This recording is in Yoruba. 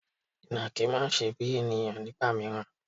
Ìnàkí máa ń ṣe bíi ènìyàn nígbà mìíràn.